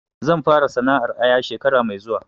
Zan fara sana'ar aya shekara mai zuwa